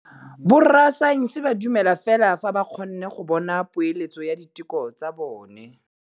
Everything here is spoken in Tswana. Borra saense ba dumela fela fa ba kgonne go bona poeletsô ya diteko tsa bone.